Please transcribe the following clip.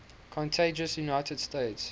contiguous united states